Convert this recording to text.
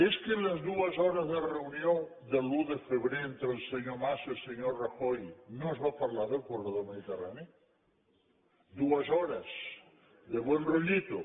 és que en les dues hores de reunió de l’un de febrer entre el senyor mas i el senyor rajoy no es va parlar del corredor mediterrani dues hores derollito